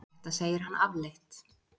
þetta segir hann afleitt